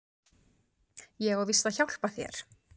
Ég á víst að hjálpa þér.